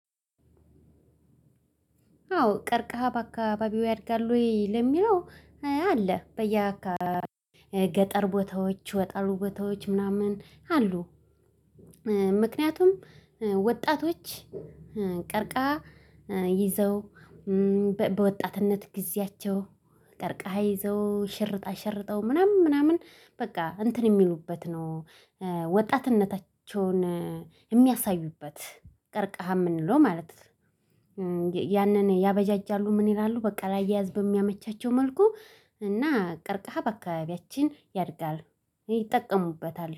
አዎ ቀርቀሃ በአካባቢው ያድጋል ወይ ለሚለው አይ አለ በየአካባቢው ገጠር ቦታዎች ገጠሩ ቦታዎች ምናምን አሉ። ምክንያቱም ወጣቶች ቀርካሃ ይዘው በወጣትነት ጊዜያቸው ቀርከሃ ይዘው ሽርጥ አሸርጠው ምናምን ምናምን በቃ እንትን የሚሉበት ነው። ወጣትነታቸውን የሚያሳዩበት ቀርካሃ የምንለው ማለት ያንን ያበጃጃሉ። ምን ይላሉ? በቃ ላያያዝ በሚያመቻቸው መልኩ እና ቀርካሃ በአካባቢያችን ያድጋል ይጠቀሙበታል